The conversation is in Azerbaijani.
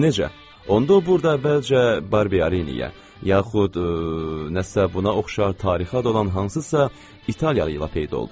Onda o burda əvvəlcə Barberiniyə, yaxud nəsə buna oxşar tarixi adı olan hansısa italyalı ilə peyda oldu.